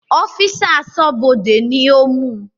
Ọ́físà Aṣọ́bọdè ni ó mú